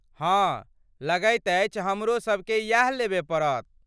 हँ, लगैत अछि हमरो सभ केँ इएह लेबय पड़त।